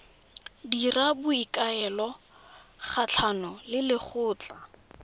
dira boikuelo kgatlhanong le lekgotlha